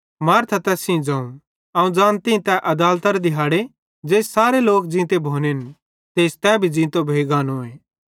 मार्था तैस सेइं ज़ोवं अवं ज़ानती तै अदालतरे दिहाड़े ज़ेइस सारे लोक ज़ींते भोनेन तेइस तै भी ज़ींतो भोइ गानोए